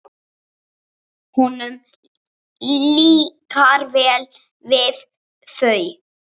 Honum líkar vel við þau.